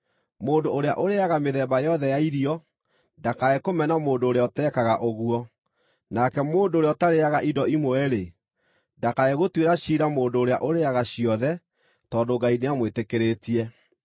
Mũndũ ũrĩa ũrĩĩaga mĩthemba yothe ya irio ndakae kũmena mũndũ ũrĩa ũtekaga ũguo, nake mũndũ ũrĩa ũtarĩĩaga indo imwe-rĩ, ndakae gũtuĩra ciira mũndũ ũrĩa ũrĩĩaga ciothe tondũ Ngai nĩamwĩtĩkĩrĩtie.